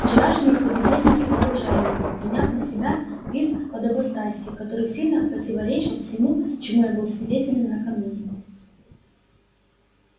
вчерашние собеседники окружали его приняв на себя вид подобострастия который сильно противуречил всему чему я был свидетелем накануне